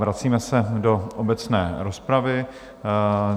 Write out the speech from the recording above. Vracíme se do obecné rozpravy.